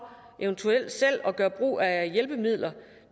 eventuelt selv at gøre brug af hjælpemidler